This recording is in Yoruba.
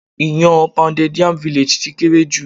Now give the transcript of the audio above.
Iyán an Pounded Yam Village ti kéré jù.